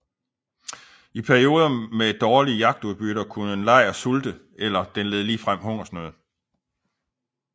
I perioder med dårlige jagtudbytter kunne en lejr sulte eller den led ligefrem af hungersnød